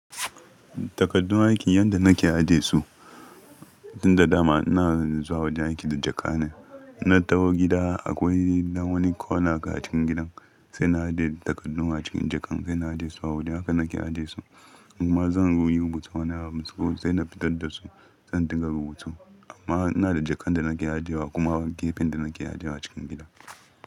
Takaddun aiki yanda nake aje su, tun da dama ina zuwa wajen aiki da jaka ne. Na taho gida akwai dan wani corner a cikin gidan sai na aje takaddun a cikin jakan, sai na aje su a waje, haka nake aje su. Kuma zan yi rubutu a nan har sai na fitar da su, sai dinga rubutu. Amma ina da jakan da nake aje wa kuma gefen da nake aje wa cikin gida.